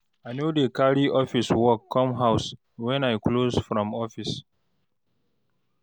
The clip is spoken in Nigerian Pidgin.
I no dey cari office work com house wen I close from office